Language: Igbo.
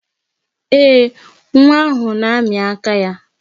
Ee, nwa ahụ na-amị aka ya.